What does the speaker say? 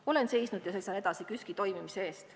Olen seisnud ja seisan edasi KÜSK-i toimimise eest.